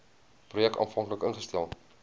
projek aanvanklik ingestel